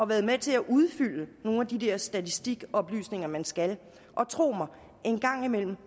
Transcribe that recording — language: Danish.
været med til at udfylde nogle af de der statistikoplysninger man skal og tro mig en gang imellem